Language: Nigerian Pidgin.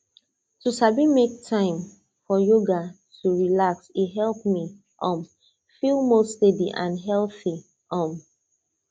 to sabi make time for yoga to relax e help me um feel more steady and healthy um